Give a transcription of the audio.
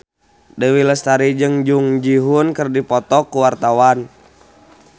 Dewi Lestari jeung Jung Ji Hoon keur dipoto ku wartawan